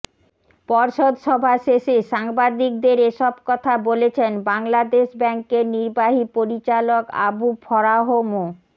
পর্ষদ সভা শেষে সাংবাদিকদের এসব কথা বলেছেন বাংলাদেশ ব্যাংকের নির্বাহী পরিচালক আবু ফরাহ মো